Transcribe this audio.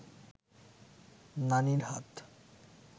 নানির হাত